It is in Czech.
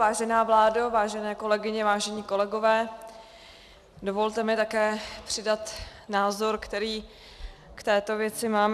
Vážená vládo, vážené kolegyně, vážení kolegové, dovolte mi také přidat názor, který k této věci mám.